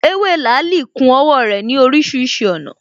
Ewé làálī ku owó rè ní orísirísi ònà